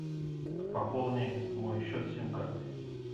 пополни мой счет сим карты